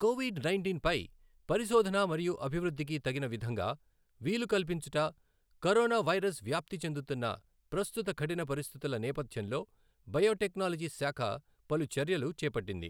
Covid నైంటీన్పై పరిశోధన మరియు అభివృద్ధికి తగిన విధంగా వీలు కల్పించుట, కరోనా వైరస్ వ్యాప్తి చెందుతున్న ప్రస్తుత కఠిన పరిస్థితుల నేపథ్యంలో బయోటెక్నాలజీ శాఖ పలు చర్యలు చేపట్టింది.